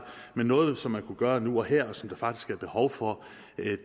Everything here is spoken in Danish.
men noget som man kunne gøre nu og her og som der faktisk er behov for